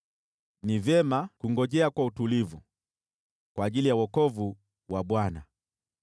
ni vyema kungojea kwa utulivu kwa ajili ya wokovu wa Bwana .